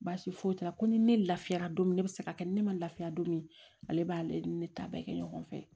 Baasi foyi t'a la ko ni ne lafiyara don min ne bɛ se ka kɛ ni ne ma lafiya don min ale b'ale ni ne ta bɛɛ kɛ ɲɔgɔn fɛ